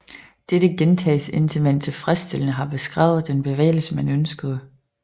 Dette gentages indtil man tilfredsstillende har beskrevet den bevægelse man ønskede